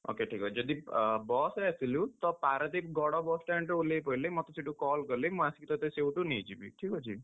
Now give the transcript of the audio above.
Okay ଠିକ୍ ଅଛି, ଯଦି bus ରେ ଆସିଲୁ, ତ ପାରାଦ୍ୱୀପ ଗଡ bus stand ରେ ଓଲ୍ହେଇ ପଇଲେ ମତେ ସେଠୁ call କଲେ ମୁଁ ଆସିକି ତତେ ସେଇଠୁ ନେଇଯିବି। ଠିକ୍ ଅଛି?